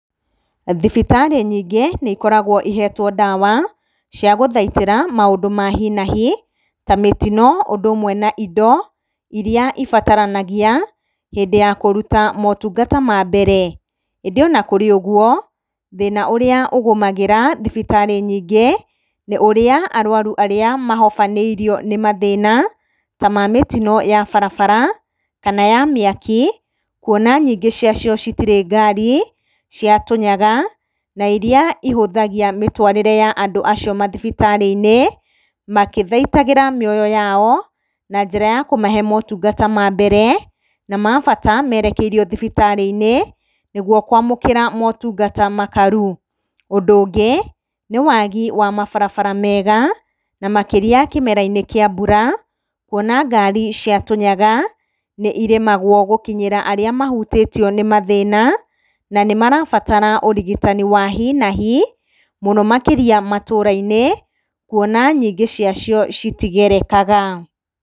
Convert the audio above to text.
Thibitarĩ nyingĩ nĩ ikoragwo ihetwo ndawa cia gũthaitĩra maũndũ ma hi na hi ta mĩtino, ũndũ ũmwe na indo iria ibataranagia hĩndĩ ya kũruta motungata ma mbere. Ĩndĩ ona kũrĩ ũgwo, thĩna ũrĩa ũgũmagĩra thibitarĩ nyingĩ, nĩ ũrĩa arwaru arĩa mahobanĩrio nĩ mathĩna ta ma mĩtino ya barabara kana ya mĩaki, kwona nyingĩ ciacio citirĩ ngari cia tũnyaga, na iria ihũthagia mĩtwarĩre ya andũ acio mathibitarĩ-inĩ, makĩthaitagĩra mĩoyo yao na njĩra ya kũmahe motungata ma mbere na ma bata, merekeirio thibitarĩ-inĩ nĩgwo kwamũkĩra motungata makaru. Ũndũ ũngĩ nĩ wagi wa mabarabara mega, na makĩria kĩmera-inĩ kĩa mbura, kwona ngari cia tũnyaga nĩ iremagwo gũkinyĩra arĩa mahutio nĩ mathĩna, na nĩ marabatara ũrigitani wa hi na hi, mũno makĩria matũũra-inĩ, kwona nyingĩ ciacio citigerekaga.